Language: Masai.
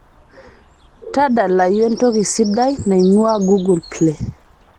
tadalayu entoki sidai naing'uaa google play